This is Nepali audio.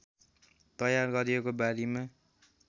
तयार गरिएको बारीमा